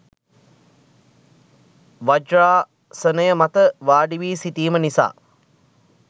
වජ්‍රාසනය මත වාඩිවි සිටීම නිසා